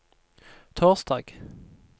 torsdag